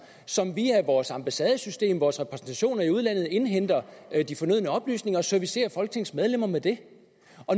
som via vores ambassadesystem vores repræsentationer i udlandet indhenter de fornødne oplysninger og servicerer folketingsmedlemmer med det